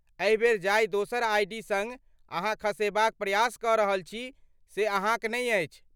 एहि बेर जाहि दोसर आइ.डी. सङ्ग अहाँ खसेबाक प्रयास कऽ रहल छी से अहाँक नै अछि।